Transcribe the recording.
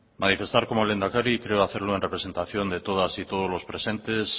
manifestar como lehendakari y creo hacerlo en representación de todas y todos los presentes